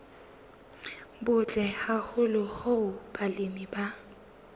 butle haholo hoo balemi ba